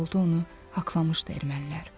Yolda onu haqlamışdı ermənilər.